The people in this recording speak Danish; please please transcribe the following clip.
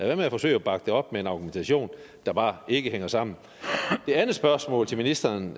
være med at forsøge at bakke det op med en argumentation der bare ikke hænger sammen det andet spørgsmål til ministeren